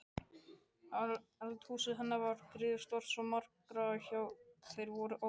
Eldhúsið hennar var griðastaður svo margra, já þeir voru óteljandi.